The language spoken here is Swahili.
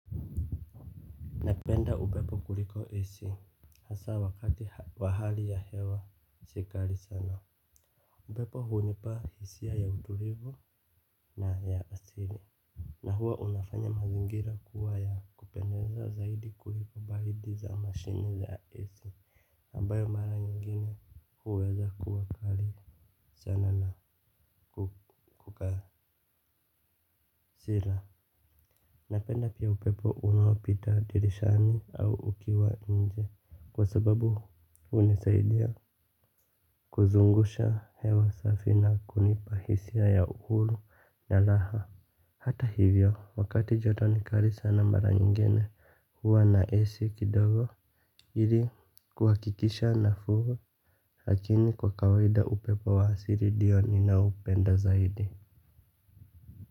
Napenda upepo kuliko AC. Hasa wakati wa hali ya hewa si kali sana. Upepo hunipa hisia ya utulivu na ya asili na huwa unafanya mazingira kuwa ya kupendeza zaidi kuliko baridi za mashine za AC Nambayo mara nyingine huweza kuwa kali sana na kukasila. Napenda pia upepo unaopita dirishani au ukiwa nje. Kwa sababu hunisaidia kuzungusha hewa safi na kunipa hisia ya uhuru na raha. Hata hivyo, wakati joto ni kali sana mara nyingine huwa na AC kidogo ili kuhakikisha nafunga. Lakini kwa kawaida upepo wa asili ndio ninaopenda zaidi.